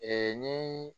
Ee ni